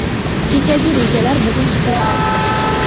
Kechagi rejalar bugun haqiqat.